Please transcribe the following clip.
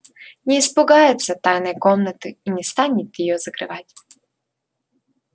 не испугается тайной комнаты и не станет её закрывать